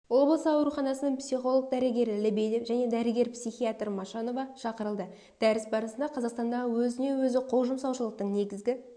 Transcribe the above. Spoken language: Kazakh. облысы ауруханасының психолог-дәрігері лебедев және дәрігер-психиатр машанова шақырылды дәріс барысында қазақстандағы өзіне-өзі қол жұмсаушылықтың негізгі